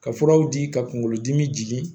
Ka furaw di ka kunkolo dimi jigin